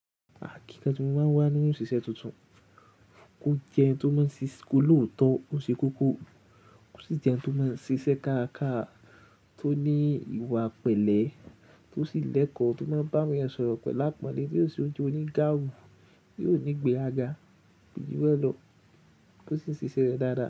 Àkínkanjú máa wà nínú ìṣiṣẹ́ tuntun, kó jẹ ẹni tó máa ń ṣiṣẹ́ kò lóòótọ́, ó ṣe kókó, kò sì jẹ ẹni tó máa ń ṣiṣẹ́ kárakàrá, tó ní ìwà pẹ̀lẹ́, tó sì lẹ́kọ̀ọ́, tó máa ń bá mi sọ̀rọ̀ pẹ̀lú àpọ́nlé, tìo yóò ṣe ojú onígbàwì, yóò ní ìgbéràga kò jù bèlọ, kọ sì ṣiṣẹ́ rẹ̀ dáadáa.